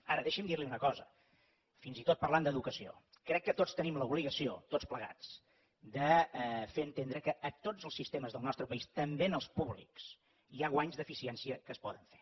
ara deixi’m dir li una cosa fins i tot parlant d’educació crec que tots tenim l’obligació tots plegats de fer entendre que a tots els sistemes del nostre país també en els públics hi ha guanys d’eficiència que es poden fer